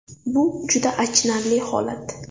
Bu juda achinarli holat.